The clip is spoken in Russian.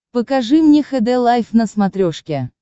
покажи мне хд лайф на смотрешке